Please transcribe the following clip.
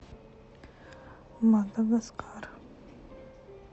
мадагаскар